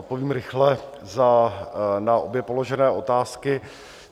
Odpovím rychle na obě položené otázky.